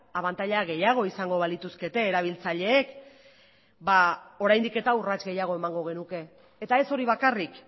abantaila gehiago izango balituzkete erabiltzaileek ba oraindik eta urrats gehiago emango genuke eta ez hori bakarrik